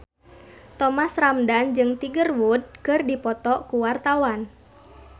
Thomas Ramdhan jeung Tiger Wood keur dipoto ku wartawan